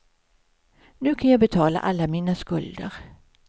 Nu kan jag betala alla mina skulder.